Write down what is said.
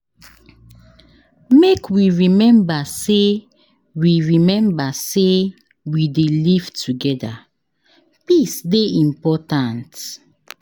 Make we rememba sey we rememba sey we dey live togeda, peace dey important.